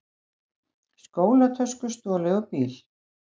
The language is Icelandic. Skólatösku stolið úr bíl